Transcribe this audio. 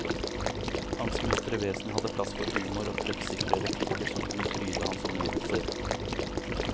Hans muntre vesen hadde plass for humor og treffsikre replikker som kunne fryde hans omgivelser.